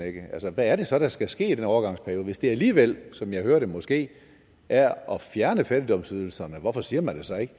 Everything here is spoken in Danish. hvad er det så der skal ske i den overgangsperiode hvis det alligevel som jeg hører det måske er at fjerne fattigdomsydelserne hvorfor siger man det så ikke